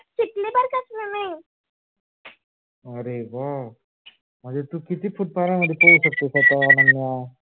अरे हो म्हणजे तू किती foot पाण्यात मध्ये पोहू शकतेस आता?